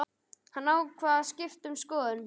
Hann ákvað að skipta um skoðun.